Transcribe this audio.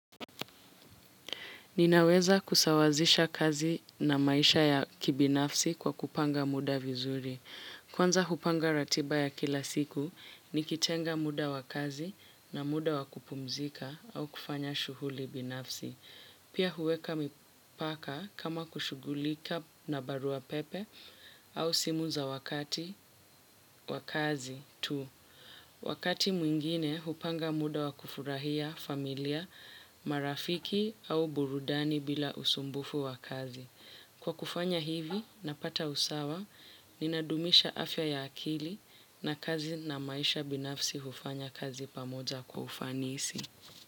Ninaweza kusawazisha kazi na maisha ya kibinafsi kwa kupanga muda vizuri. Kwanza hupanga ratiba ya kila siku, nikitenga muda wa kazi na muda wa kupumzika au kufanya shughuli binafsi. Pia huweka mipaka kama kushughulika na barua pepe au simu za wakati, wa kazi, tu. Wakati mwingine, hupanga muda wa kufurahia familia, marafiki au burudani bila usumbufu wa kazi. Kwa kufanya hivi, napata usawa, ninadumisha afya ya akili na kazi na maisha binafsi hufanya kazi pamoja kwa ufanisi.